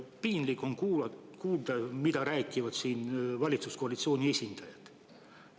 Piinlik on kuulata, mida räägivad siin valitsuskoalitsiooni esindajad.